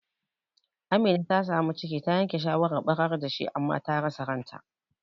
Amina ta samu ciki, ta yanke shawarar ɓarar dashi, amma ta rasa ranta.